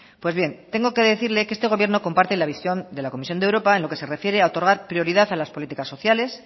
pues bien tengo que decirle que este gobierno comparte la visión de la comisión de europa en lo que se refiere a otorgar prioridad a las políticas sociales